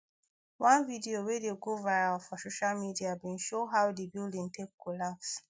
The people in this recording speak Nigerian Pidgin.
one video wey dey go go viral for social media bin show how di building take collapse